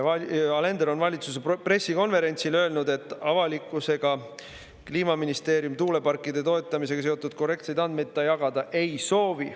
Alender on valitsuse pressikonverentsil öelnud, et avalikkusega Kliimaministeerium tuuleparkide toetamisega seotud korrektseid andmeid jagada ei soovi.